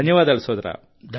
ధన్యవాదాలు సోదరా